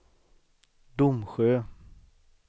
Domsjö